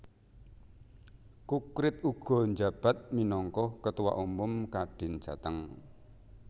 Kukrit uga njabat minangka Ketua Umum Kadin Jateng